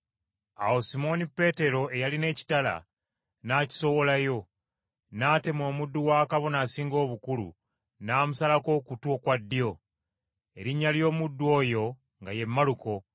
Awo Simooni Peetero, eyalina ekitala, n’akisowolayo, n’atema omuddu wa Kabona Asinga Obukulu n’amusalako okutu okwa ddyo. Erinnya ly’omuddu oyo nga ye Maluko.